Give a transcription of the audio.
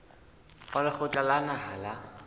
wa lekgotla la naha la